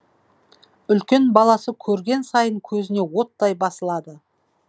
үлкен баласы көрген сайын көзіне оттай басылады